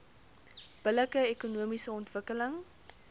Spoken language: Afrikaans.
billike ekonomiese ontwikkeling